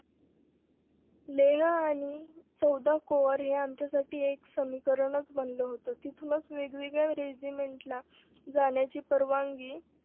लेह आणि चौदा कोर हे आमच्यासाठी एक समीकरणच बनलं होत तिथूनच वेगवेगळ्या रेजिमेंटला जाण्याची परवानगी